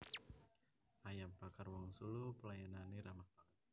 Ayam Bakar Wong Solo pelayanane ramah banget